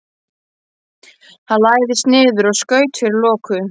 Hann lagðist niður og skaut fyrir loku.